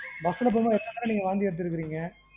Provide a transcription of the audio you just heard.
bus ல போகும் போது எத்தனை தடவ நீங்க வாந்தி எடுத்துருக்குறீங்க.